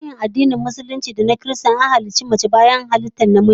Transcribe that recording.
A tarihin addinin Musulunci da ma na Kiristanci, mace daga baya aka halicce ta daga namiji